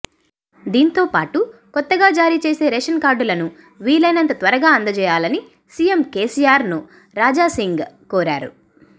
దీంతోపాటు కొత్తగా జారీచేసే రేషన్ కార్డులను వీలైనంత త్వరగా అందజేయాలని సీఎం కేసీఆర్ను రాజాసింగ్ కోరారు